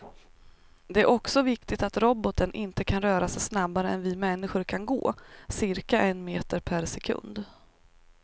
Det är också viktigt att roboten inte kan röra sig snabbare än vi människor kan gå, cirka en meter per sekund.